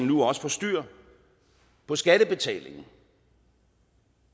nu også styr på skattebetalingen